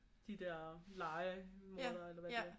De der lejemordere eller hvad de er